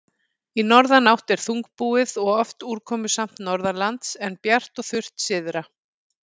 Í norðanátt er þungbúið og oft úrkomusamt norðanlands, en bjart og þurrt syðra.